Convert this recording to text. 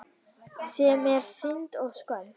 Sem er synd og skömm.